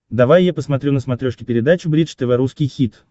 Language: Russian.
давай я посмотрю на смотрешке передачу бридж тв русский хит